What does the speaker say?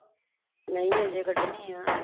ਨਹੀ ਅਜੇ ਕੱਢਣੀ ਆ।